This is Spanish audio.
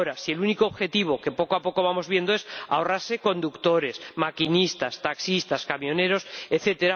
Ahora, si el único objetivo que poco a poco vamos viendo es ahorrarse conductores, maquinistas, taxistas, camioneros, etc.